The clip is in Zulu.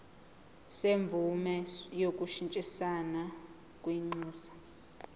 semvume yokushintshisana kwinxusa